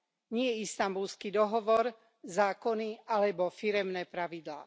Nie Istanbulský dohovor, zákony alebo firemné pravidlá.